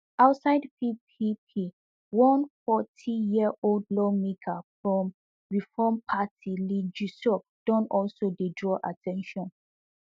outside ppp one fortyyearold lawmaker from reform party lee junseok don also dey draw at ten tion